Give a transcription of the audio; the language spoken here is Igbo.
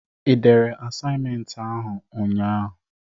I dere asaịmenti ahụ nnya a?